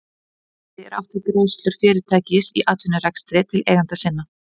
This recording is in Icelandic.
Með arði er átt við greiðslur fyrirtækis í atvinnurekstri til eigenda sinna.